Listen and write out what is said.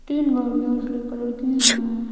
तीन गाड़ियां उजले कलर की है।